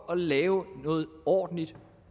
at lave noget ordentligt